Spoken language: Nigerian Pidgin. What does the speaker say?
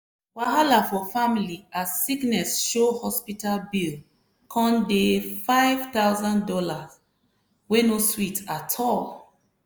wahala for family as sickness show hospital bill come dey five thousand dollars wey no sweet at all.